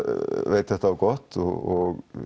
veit þetta á gott og